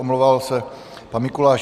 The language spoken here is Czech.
Omlouval se pan Mikuláš